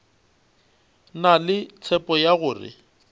na le tshepo ya gore